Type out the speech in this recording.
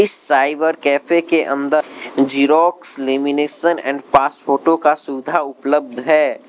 Cyber cafe के अंदर xerox lamination and pass photo का सुधा उपलब्ध है।